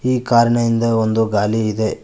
ಈ ಕಾರಿನ ಹಿಂದೆ ಒಂದು ಗಾಲಿ ಇದೆ.